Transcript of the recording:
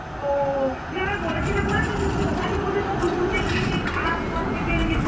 ও, তুমি আমার বলেছিলে যে মনে আছে যে তুমি ওখানেই বোধহয় ফুল তুলতে গিয়ে সেই খারা পথ থেকে